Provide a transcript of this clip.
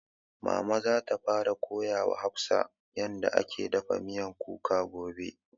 Mama za ta fara koya wa hafsah yarda ake dafa miyan kuka gobe